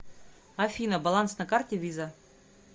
афина баланс на карте виза